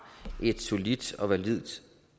et solidt og validt